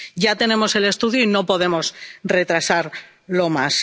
Ya tenemos el estudio y no podemos retrasarlo más.